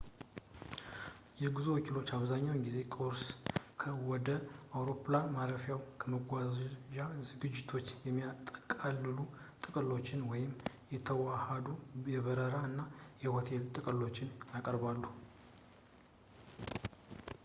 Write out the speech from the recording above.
የጉዞ ወኪሎች አብዛኛውን ጊዜ ቁርስ፣ ከ/ወደ አውሮፕላን ማረፊያው የመጓጓዣ ዝግጅቶችን የሚያጠቃልሉ ጥቅሎችን ወይም የተዋሃዱ የበረራ እና ሆቴል ጥቅሎችን ያቀርባሉ